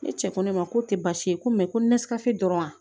Ne cɛ ko ne ma ko tɛ baasi ye ko ko ne sigasi dɔrɔn